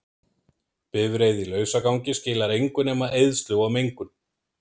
Bifreið í lausagangi skilar engu nema eyðslu og mengun.